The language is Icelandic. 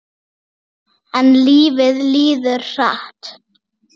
En lífið líður hratt.